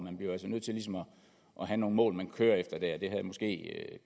og have nogle mål man kører efter der det havde måske